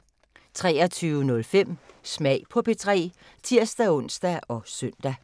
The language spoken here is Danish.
23:05: Smag på P3 (tir-ons og søn)